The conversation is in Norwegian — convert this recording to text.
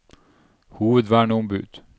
hovedverneombud